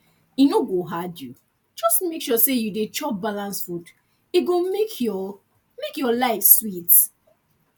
e no go hard you just make sure you dey chop balanced food e go make make your make make your life sweet